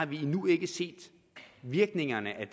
vi har endnu ikke set virkningerne af